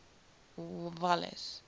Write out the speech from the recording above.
walles